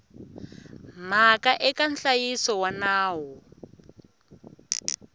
mhaka eka nhlayiso wa nawu